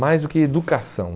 Mais do que educação.